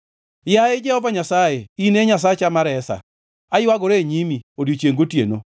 Yaye Jehova Nyasaye, in e Nyasacha ma resa, aywagora e nyimi odiechiengʼ gotieno.